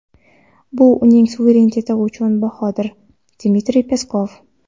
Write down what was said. bu uning suvereniteti uchun bahodir – Dmitriy Peskov.